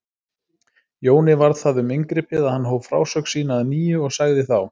Jóni varð það um inngripið að hann hóf frásögn sína að nýju og sagði þá